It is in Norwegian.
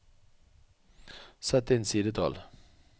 Sett inn sidetall